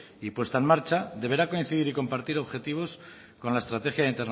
y puesta en marcha deberá coincidir y compartir objetivos con la estrategia